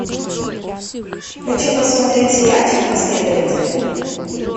хочу посмотреть сериальчик последователи